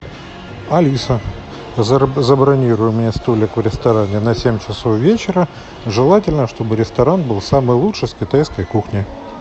алиса забронируй мне столик в ресторане на семь часов вечера желательно чтобы ресторан был самый лучший с китайской кухней